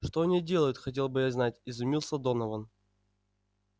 что они делают хотел бы я знать изумился донован